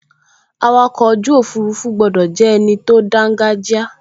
Awakọ̀ ojú òfurufú gbọdọ̀ jẹ́ ẹni tó dángájíá